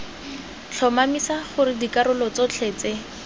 tlhomamisa gore dikarolo tsotlhe tse